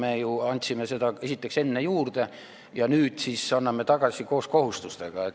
Me ju andsime seda esiteks enne juurde ja nüüd siis anname tagasi koos kohustustega.